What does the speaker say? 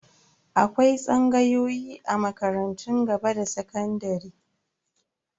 Akwai tsangayoyi a makarantun gaba da sakandare.